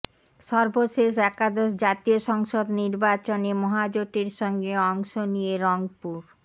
সর্বশেষ একাদশ জাতীয় সংসদ নির্বাচনে মহাজোটের সঙ্গে অংশ নিয়ে রংপুর